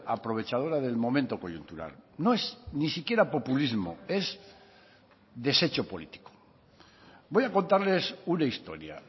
aprovechadora del momento coyuntural no es ni siquiera populismo es desecho político voy a contarles una historia